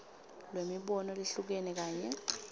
lwemibono lehlukene kanye